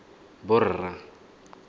borra